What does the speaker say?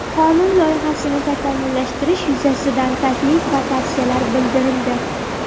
Qonun loyihasini takomillashtirish yuzasidan taklif va tavsiyalar bildirildi.